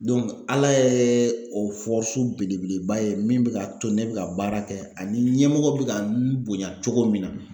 Ala yɛ o belebeleba ye min be k'a to ne bɛ ka baara kɛ ani ɲɛmɔgɔw be ka n bonya cogo min na